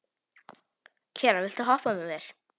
Keran, viltu hoppa með mér?